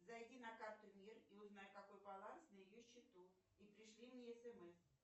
зайди на карту мир и узнай какой баланс на ее счету и пришли мне смс